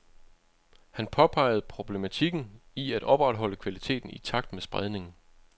Han påpegede problematikken i at opretholde kvaliteten i takt med spredningen.